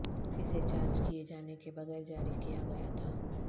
اسے چارج کئے جانے کے بغیر جاری کیا گیا تھا